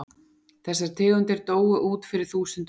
Þessar tegundir dóu út fyrir þúsundum ára.